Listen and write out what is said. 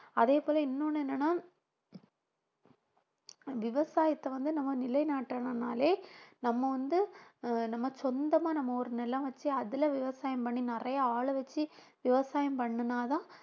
அதே போல இன்னொண்ணு என்னன்னா விவசாயத்தை வந்து நம்ம நிலைநாட்டணும்னாலே நம்ம வந்து நம்ம சொந்தமா நம்ம ஒரு நிலம் வச்சு அதில விவசாயம் பண்ணி நிறைய ஆளு வச்சு விவசாயம் பண்ணுனாதான்